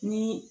Ni